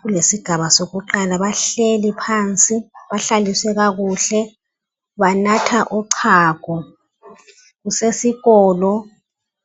kulesigaba sakuqala bahleli phansi, bahlaliswe kakuhle, banatha uchago, kusesikolo.